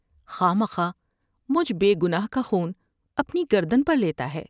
خواہ مخواہ مجھے بے گناہ کا خون اپنی گردن پر لیتا ہے ۔